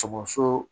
Sɔgɔso